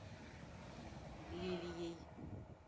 лилией